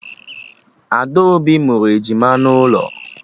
Adaobi mụrụ ejima n'ụlọ